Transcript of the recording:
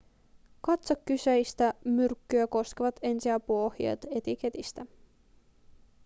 katso kyseistä myrkkyä koskevat ensiapuohjeet etiketistä